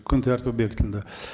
күн тәртібі бекітілді